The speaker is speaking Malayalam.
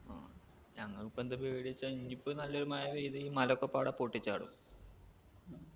ആ ഞങ്ങക്കിപ്പെന്താ പേടി വെച്ചാ ഇനിയിപ്പോ നല്ലൊരു മയ പെയ്ത മലോക്കെ പാടെ പൊട്ടിച്ചാടും